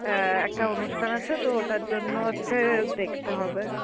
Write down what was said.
অ্যাঁ একটা অনুষ্ঠান আছে তো ওটার জন্য হচ্ছে দেখতে হবে.